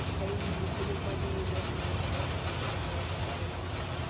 и пневмонию можно заработать если я не ошибаюсь